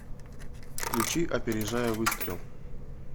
включи опережая выстрел